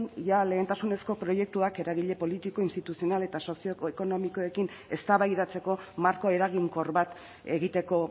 jada lehentasunezko proiektuak eragile politiko instituzional eta sozioekonomikoekin eztabaidatzeko marko eraginkor bat egiteko